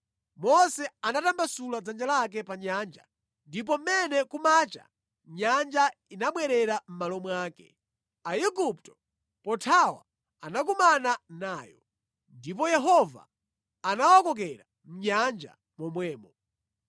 Mose anatambasula dzanja lake pa nyanja, ndipo mmene kumacha nyanja inabwerera mʼmalo mwake. Aigupto pothawa anakumana nayo, ndipo Yehova anawakokera mʼnyanja momwemo.